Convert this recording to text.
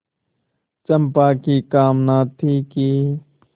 चंपा की कामना थी कि